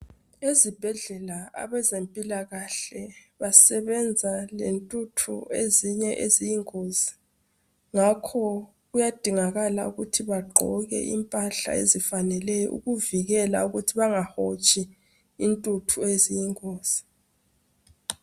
Ezibhedlela abezempilakahle basebenza lentuthu ezinye eziyingozi ngakho kuyadingakala ukuthi bagqoke impahla ezifaneleyo ukuvikela ukuthi bangahotshi intuthu eziyingozi.